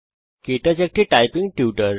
কে touch একটি typing tutor